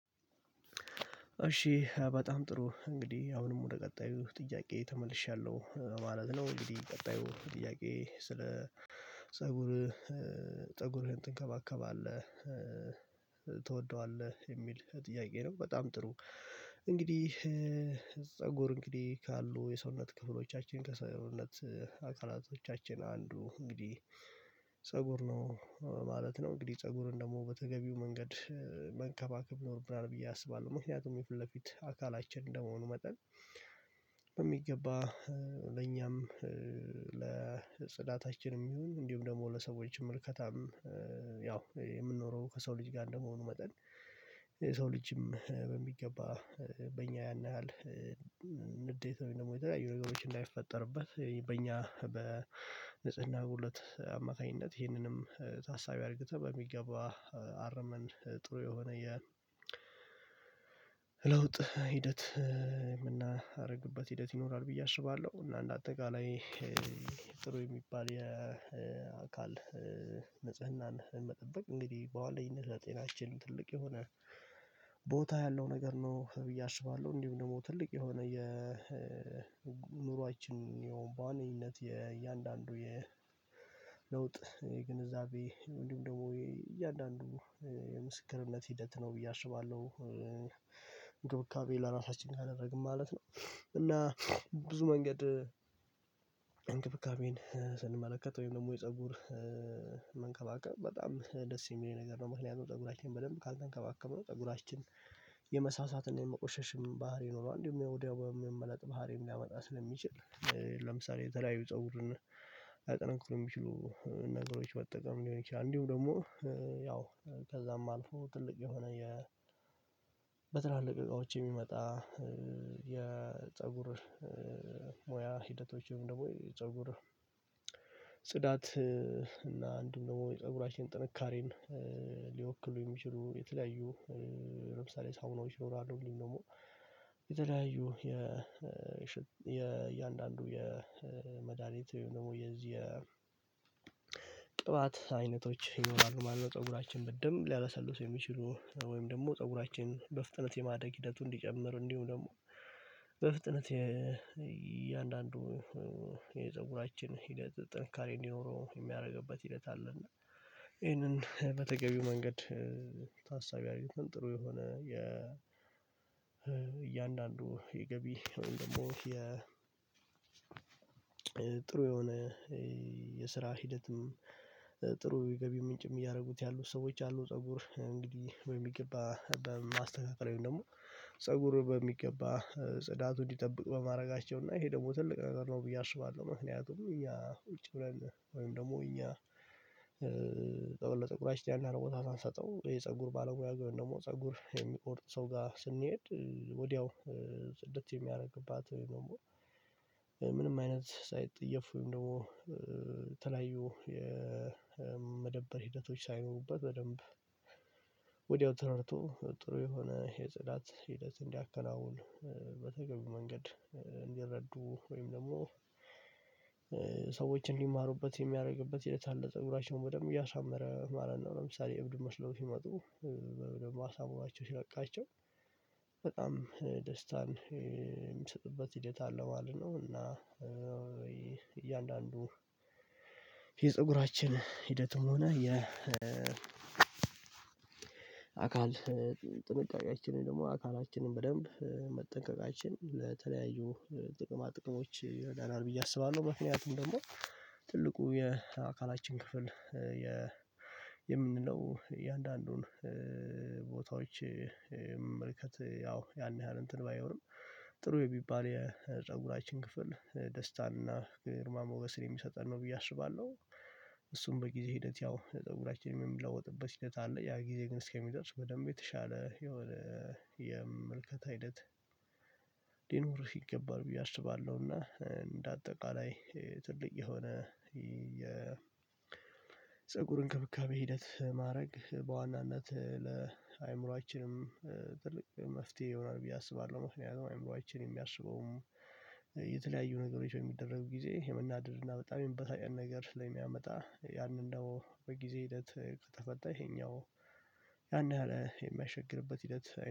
እሺ በጣም ጥሩ እንግዲህ አሁንም ወደ ቀጣዩ ጥያቄ ተመልሻለሁ ማለት ነው። እንግዲህ ቀጣዩ ጥያቄ ስለ ፀጉር ፀጉርህን ትንከባከባለህ ትወደዋለህ የሚል ጥያቄ ነው በጣም ጥሩ። እንግዲህ ፀጉር ካሉ የሰውነት ክፍሎቻችን ከሰውነት አካላቶቻችን አንዱ እንግዲህ ፀጉር ነው ማለት ነው። እንግዲህ ፀጉርን ደግሞ በተገቢው መንገድ መንከባከብ ይኖርብናል ብዬ አስባለሁ ምክንያቱም የፊት ለፊት አካላችን እንደመሆኑ መጠን። በሚገባ ለኛም ለጽዳታችንም ይሁን እንዲሁም ደግሞ ለሰዎችም ምልከታም ያው የምንኖረው ከሰው ልጅ ጋር እንደመሆኑ መጠን። የሰው ልጅም በሚገባ በእኛ ያን ያህል ንዴት ወይም ደግሞ የተለያዩ ነገሮች እንዳይፈጠርበት በእኛ በንጽህና ጉለት አማካኝነት ይህንንም ታሳቢ አድርግተህ በሚገባ አርመን ጥሩ የሆነ የለውጥ ሂደት የምናደርግበት ሂደት ይኖራል ብዬ አስባለሁ። እና እንደ አጠቃላይ ጥሩ የሚባል የአካል ንጽህናን መጠበቅ እንግዲህ በዋነኝነት ለጤናችን ትልቅ የሆነ ቦታ ያለው ነገር ነው ብዬ አስባለሁ። እንዲሁም ደግሞ ትልቅ የሆነ የ የኑሯችን ያውም በዋነኝነት የእያንዳንዱ የለውጥ ግንዛቤ እንዲሁም ደግሞ የእያንዳንዱ የምስክርነት ሂደት ነው ብዬ አስባለሁ። እንክብካቤ ለራሳችን ካደረግን ማለት ነው እና ብዙ መንገድ ስንመለከት ወይም ደግሞ የፀጉር መንከባከብ በጣም ደስ የሚለኝ ነገር ነው። ምክንያቱም ፀጉራችንን በደንብ ካልተንከባከብነው ፀጉራችን የመሳሳት እና የመቆሸሽም ባህሪ ይኖረዋል እንዲሁ ወዲያው የመመለጥ ባህሪም ሊያመጣ ስለሚችል ለምሳሌ የተለያዩ ፀጉርን ሊያጠናክሩ የሚችሉ ነገሮች በጠቀም ሊሆን ይችላል። እንዲሁ ደግሞ ያው ከዛም አልፎ ትልቅ የሆነ የ በትላልቅ እቃዎች የሚመጣ የፀጉር ሞያ ሂደቶችን ወይ ፀጉር ጽዳት እና አንድም ደግሞ የፀጉራችን ጥንካሬን ሊወክሉ የሚችሉ የተለያዩ ለምሳሌ ሳሙናዎች ይኖራሉ እንዲሁም ደግሞ የተለያዩ የ የእያንዳንዱ የመድሃኒት ወይም ደግሞ የዚህ የ ቅባት አይነቶች ይኖራሉ ማለት ነው። ፀጉራችን በደንብ ሊያለሰልሱ የሚችሉ ወይም ደግሞ ፀጉራችን በፍጥነት የማደግ ሂደቱን እንዲጨምር እንዲሁ ደግሞ በፍጥነት እያንዳንዱ የፀጉራችን ሂደት ጥንካሬ እንዲኖረው የሚያደርግበት ሂደት አለ። እና ይሄንን በተገቢው መንገድ ታሳቢ አርግተን ጥሩ የሆነ የ እያንዳንዱ የገቢ ወይም ደግሞ የጥሩ የሆነ የስራ ሂደትም ጥሩ የገቢ ምንጭም እያደረጉት ያሉ ሰዎች አሉ። ፀጉር እንግዲህ በሚገባ በማስተካከል ወይም ደግሞ ፀጉር በሚገባ ጽዳቱን እንዲጠብቅ በማድረጋቸው እና ይሄ ደግሞ ትልቅ ነገር ነው ብዬ አስባለሁ። ምክንያቱም እኛ ውጪ ሆነን ወይም ደግሞ እኛ ለፀጉራችን ያን ያህል ቦታ ሳንሰጠው የፀጉር ባለሙያ ቢሆን ደግሞ ፀጉር የሚቆርጥ ሰው ጋር ስንሄድ ወዲያው ጽድት የሚያደርግባት ወይም ደግሞ ምንም አይነት ሳይጠየፍ ወይም ደግሞ የተለያዩ የመደበር ሂደቶች ሳይኖሩበት በደንብ ወዲያው ተረድቶ ጥሩ የሆነ የጽዳት ሂደት እንዲያከናውን በተገቢው መንገድ እንዲረዱ ወይም ደግሞ ሰዎች እንዲማሩበት የሚያደርግበት የተለያየ ፀጉራቸውን በደንብ እያሳመረ ማለት ነው። ለምሳሌ እብድ መስለው ሲመጡ ደግሞ አሳምሯቸው ሲለቃቸው በጣም ደስታን የሚሰጥበት ሂደት አለው ማለት ነው። እና እያንዳንዱ የፀጉራችን ሂደቱ ሆነ የ አካል ጥንቃቄያችንን ደግሞ አካላችንን በደንብ መጠንቀቃችን ለተለያዩ ጥቅማ ጥቅሞች ይረዳናል ብዬ አስባለሁ። ምክንያቱም ደግሞ ትልቁ የአካላችን ክፍል የምንለው የእያንዳንዱን ቦታዎች መመልከት ያው ያን ያህል እንትን ባይሆንም ጥሩ የሚባል የፀጉራችን ክፍል ደስታን እና ግርማ ሞገስን የሚሰጠን ነው ብዬ አስባለሁ። እሱም በጊዜ ሂደት ያው ለፀጉራችን የምንለውጥበት ሂደት አለ ያ ጊዜ ግን እስከሚደርስ በደንብ የተሻለ የምልከታ ሂደት ሊኖርህ ይገባል ብዬ አስባለሁ። እና እንደ አጠቃላይ ትልቅ የሆነ የፀጉር እንክብካቤ ሂደት ማድረግ በዋናነት ለአእምሮአችንም ትልቅ መፍትሄ ይሆናል ብዬ አስባለሁ። ምክንያቱም አእምሮአችን የሚያስበውም የተለያዩ ነገሮች በሚደረጉ ጊዜ የምናደድ እና በጣም የመበሳጨት ነገር ስለሚያመጣ ያንን ነው በጊዜ ሂደት ከተፈታ ይሄኛው ያን ያህል የሚያስቸግርበት ሂደት